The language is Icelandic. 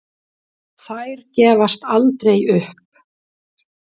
Þær gefast aldrei upp.